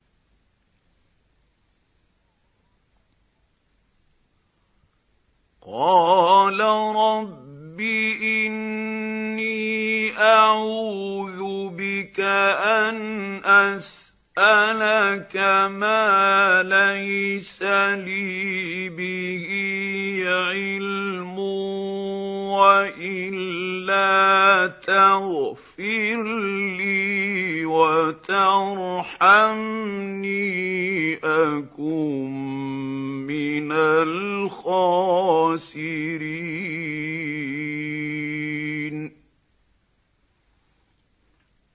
قَالَ رَبِّ إِنِّي أَعُوذُ بِكَ أَنْ أَسْأَلَكَ مَا لَيْسَ لِي بِهِ عِلْمٌ ۖ وَإِلَّا تَغْفِرْ لِي وَتَرْحَمْنِي أَكُن مِّنَ الْخَاسِرِينَ